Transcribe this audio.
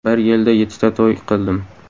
Bir yilda yettita to‘y qildim.